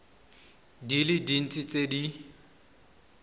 di le dintsi tse di